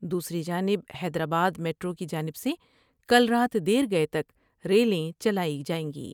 دوسری جانب حیدرآبا دمیٹرو کی جانب سے کل رات دیر گئے تک ریلیں چلائی جائیں گی ۔